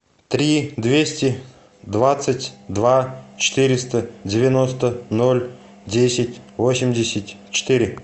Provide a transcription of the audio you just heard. три двести двадцать два четыреста девяносто ноль десять восемьдесят четыре